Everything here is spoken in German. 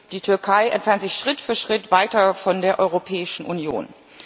Die Türkei entfernt sich Schritt für Schritt weiter von der Europäischen Union.